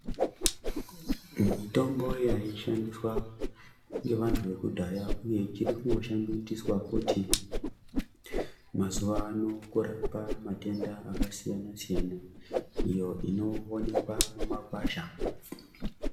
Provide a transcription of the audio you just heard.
Mitombo yaishandiswa ngevantu vekudhaya uye ichirikungoshandiswa futi mazuvano kurapa matenda akasiyana siyana iyo inowonekwa mumakwasha.